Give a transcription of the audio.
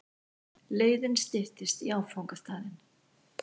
Leiðin styttist í áfangastaðinn.